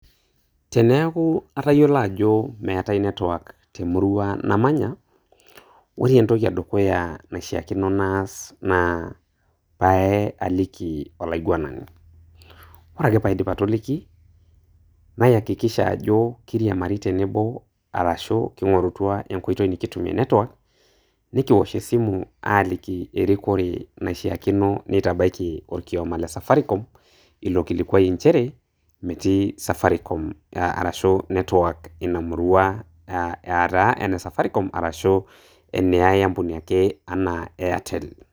teneeku atayiolo ajo meetae network temurua namanya, ore entoki edukuya naishaakino naas ,naa pee aliki olaiguanani. ore ake pee aidip atoliki, nayakikisha ajo kiriamari tenebo ashu kingorutua enkoitoi nikutumie network ,nikiwosh esimu aaliki erikore naishaakino neitabaki olkioma le safaricom .ilo kilikuai inchere metii safaricom ashu network Ina murua, aataa ena safaricom arashu ene ae ampuni ake anaa Airtel .